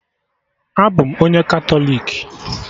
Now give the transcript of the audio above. Abụ m onye Katọlik